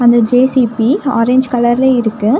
இந்த J C B orange கலர்ல இருக்கு.